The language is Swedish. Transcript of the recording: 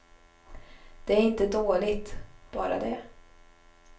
Det är inte dåligt, bara det.